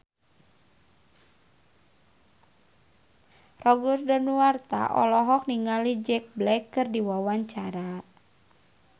Roger Danuarta olohok ningali Jack Black keur diwawancara